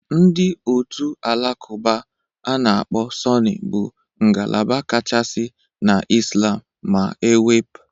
Ndị otu Alakụba a na-akpọ Sunni bụ ngalaba kachasị na Islam., ma e wep